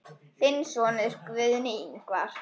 Þinn sonur, Guðni Ingvar.